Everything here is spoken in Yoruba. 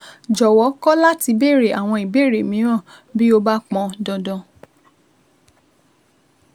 Jọ̀wọ́ kọ̀ láti béèrè àwọn ìbéèrè mìíràn bí ó bá pọn dandan